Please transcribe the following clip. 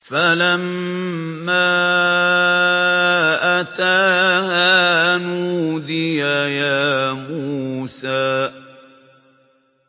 فَلَمَّا أَتَاهَا نُودِيَ يَا مُوسَىٰ